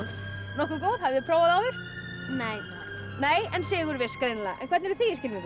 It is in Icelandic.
nokkuð góð hafið þið prófað áður nei en sigurviss greinilega hvernig eruð þið í skylmingum